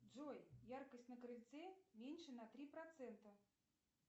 джой яркость на крыльце меньше на три процента